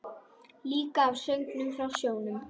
Líka af söngnum frá sjónum.